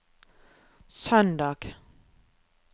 søndag